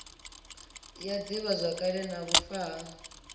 ya divhazwakale na vhufa ha